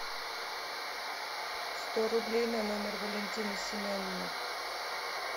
сто рублей на номер валентины семеновны